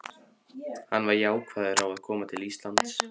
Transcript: Var hann jákvæður á að koma til Íslands?